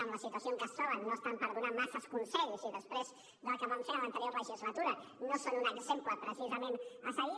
en la situació en què es troben no estan per donar massa consells i després del que van fer en l’anterior legislatura no són un exemple precisament a seguir